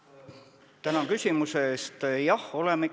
Tänan küsimuse eest!